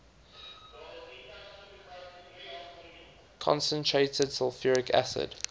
concentrated sulfuric acid